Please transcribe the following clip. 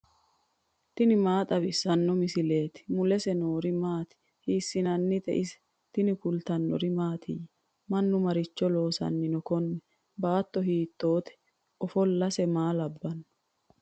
tini maa xawissanno misileeti ? mulese noori maati ? hiissinannite ise ? tini kultannori mattiya? Mannu maricho loosanni noo kunni? baatto hiittotte? Ofolosse maa labbanno?